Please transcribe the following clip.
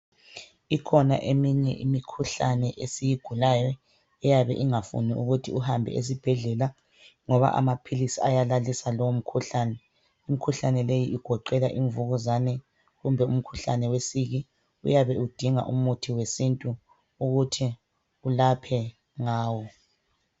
Ikhona eminye imikhuhlane esiyigulayo ,eyabe ingafuni ukuthi uhambe esibhedlela ngoba amaphilisi ayalalisa leyi mikhuhlane. Imikhuhlane leyi igoqela imvukuzane kumbe umkhuhlane wesiki uyabe udinga umuthi wesintu ukuthi ulaphe ngawo.